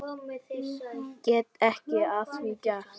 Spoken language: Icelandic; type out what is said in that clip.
Get ekkert að því gert.